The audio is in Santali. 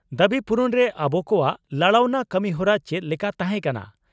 ᱫᱟᱵᱤ ᱯᱩᱨᱩᱱᱨᱮ ᱟᱵᱚ ᱠᱚᱣᱟᱜ ᱞᱟᱲᱟᱣᱱᱟ ᱠᱟᱹᱢᱤᱦᱚᱨᱟ ᱪᱮᱫ ᱞᱮᱠᱟ ᱛᱟᱦᱮᱸᱠᱟᱱᱟ?